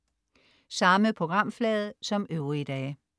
Samme programflade som øvrige dage